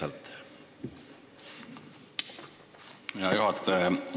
Aitäh hea juhataja!